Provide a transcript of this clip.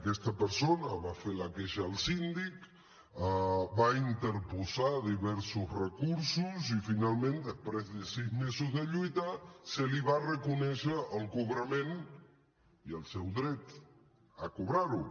aquesta persona va fer la queixa al síndic va interposar diversos recursos i finalment després de sis mesos de lluita se li va reconèixer el cobrament i el seu dret a cobrar ho